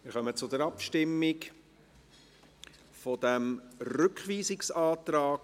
Wir kommen zur Abstimmung über diesen Rückweisungsantrag